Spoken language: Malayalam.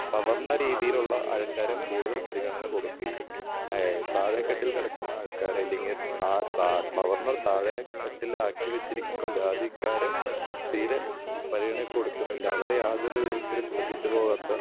സാധാരണ രീതിയിലുള്ള ആൾക്കാരെ കൂടുതൽ പരിഗണന കൊടുക്കുകയും ആഹ് താഴേ തട്ടിൽ കിടക്കുന്ന ആൾക്കാരെ അല്ലെങ്കിൽ ആ താഴ് സാധാരണ താഴെ തട്ടിലാക്കി വെച്ചിരിക്കുന്ന ജാതിക്കാരെ തീരെ പരിഗണ കൊടുക്കുന്നില്ല. അവരെ യാതൊരു വിധത്തിലും ശ്രദ്ധിച്ചു പോകാത്ത